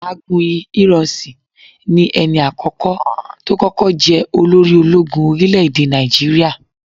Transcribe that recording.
Agunyi Ironsi ni ẹni àkókò tó kọ́kọ́ jẹ olórí ológun orílẹ̀ èdè Nàìjíríà.